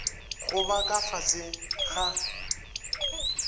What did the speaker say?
go ba ka fase ga